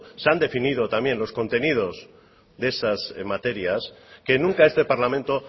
se han definido también los contenidos de esas materias que nunca este parlamento